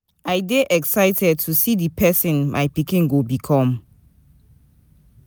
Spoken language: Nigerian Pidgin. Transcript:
I dey excited to see di person my pikin go become.